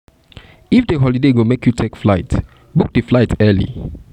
if di holiday go make holiday go make you take flight book di flight early